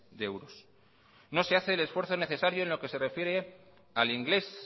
de euros no se hace el esfuerzo necesario en lo que se refiere al inglés